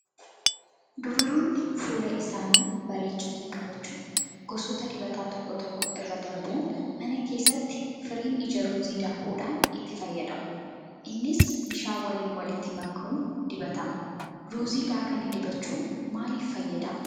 Dubaroonni fuula isaanii bareechanii qabachuuf gosoota dibataa tokko tokko irra darbuun mana keessatti firiin ija ruuzii daakuudhaan itti fayyadamu. Innis bishaan waliin walitti makuun dibatama. Ruuzii daakanii dibachuun maaliif fayyadaa?